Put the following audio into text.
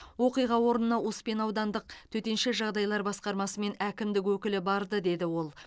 оқиға орнына успен аудандық төтенше жағдайлар басқармасы мен әкімдік өкілі барды деді ол